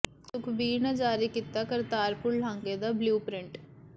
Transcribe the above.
ਸੁਖਬੀਰ ਨੇ ਜਾਰੀ ਕੀਤਾ ਕਰਤਾਰਪੁਰ ਲਾਂਘੇ ਦਾ ਬਲਿਊ ਪ੍ਰਿੰਟ